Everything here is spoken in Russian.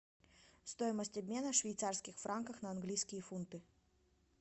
стоимость обмена швейцарских франков на английские фунты